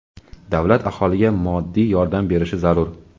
davlat aholiga moddiy yordam berishi zarur.